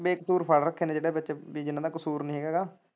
ਬੇਕਸੂਰ ਫੜ ਰੱਖੇ ਨੇ ਜਿਦੇ ਵਿੱਚ ਵੀ ਜਿੰਨਾਂ ਦਾ ਕਸੂਰ ਨੀ ਹੈਗਾ।